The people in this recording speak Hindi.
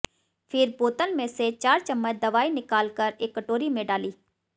फिर बोतल में से चार चम्मच दवाई निकाल कर एक कटोरी में डाली